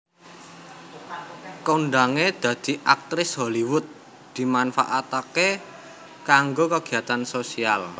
Kondhangé dadi aktris Hollywood dimanfaataké kanggo kegiatan sosial